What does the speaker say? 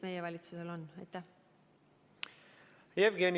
Jevgeni Ossinovski, palun!